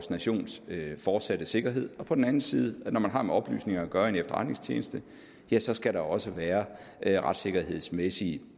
nations fortsatte sikkerhed og på den anden side at når man har med oplysninger at gøre i en efterretningstjeneste ja så skal der også være retssikkerhedsmæssige